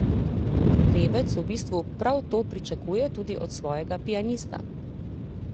Pevec v bistvu prav to pričakuje tudi od svojega pianista.